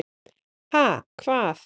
Ha, hvað?